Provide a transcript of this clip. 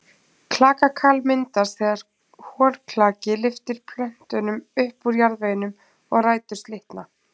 Klakakal myndast þegar holklaki lyftir plöntunum upp úr jarðveginum og rætur slitna.